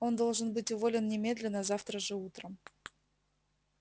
он должен быть уволен немедленно завтра же утром